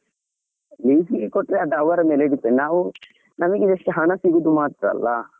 Lease ಗೆ ಕೊಟ್ರೆ, ಅದು ಅವರ ಮೇಲೆ depend ನಾವು ನಮ್ಗೆ just ಹಣ ಸಿಗೋದು ಮಾತ್ರ ಅಲ್ಲಾ.